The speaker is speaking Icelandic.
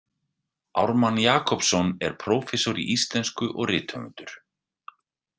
Ármann Jakobsson er prófessor í íslensku og rithöfundur.